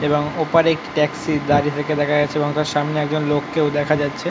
এবং ওপারে একটি ট্যাক্সি দাঁড়িয়ে থাকতে দেখা যাচ্ছে এবং তার সামনে একজন লোককেও দেখা যাচ্ছে।